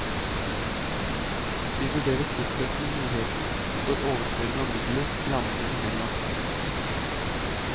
Vi vurderer fortløpende muligheten for overføringen av midler landene imellom.